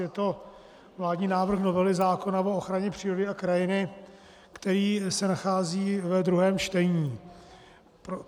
Je to vládní návrh novely zákona o ochraně přírody a krajiny, který se nachází ve druhém čtení.